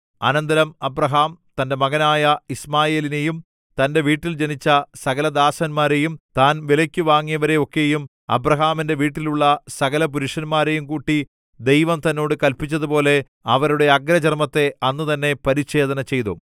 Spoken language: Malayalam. അനന്തരം അബ്രാഹാം തന്റെ മകനായ യിശ്മായേലിനെയും തന്റെ വീട്ടിൽ ജനിച്ച സകലദാസന്മാരെയും താൻ വിലയ്ക്കു വാങ്ങിയവരെ ഒക്കെയും അബ്രാഹാമിന്റെ വീട്ടിലുള്ള സകലപുരുഷന്മാരെയും കൂട്ടി ദൈവം തന്നോട് കല്പിച്ചതുപോലെ അവരുടെ അഗ്രചർമ്മത്തെ അന്നുതന്നെ പരിച്ഛേദന ചെയ്തു